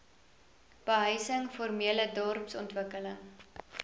behuising formele dorpsontwikkeling